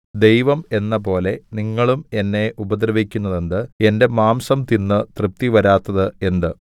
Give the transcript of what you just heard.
ദൈവം എന്നപോലെ നിങ്ങളും എന്നെ ഉപദ്രവിക്കുന്നതെന്ത് എന്റെ മാംസം തിന്ന് തൃപ്തിവരാത്തത് എന്ത്